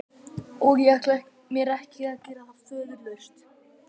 Og ég ætla mér ekki að gera það föðurlaust.